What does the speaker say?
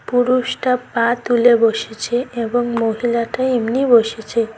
পুরুষটা পা তুলে বসেছে এবং মহিলাটা এমনি বসেছে।